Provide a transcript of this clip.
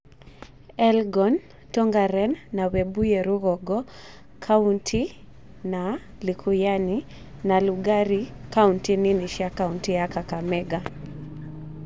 Elgon, Tongaren na Webuye Ru͂gongo) kaunti na Likuyani na Lugari kaunti nini cia kaunti ya kakamega.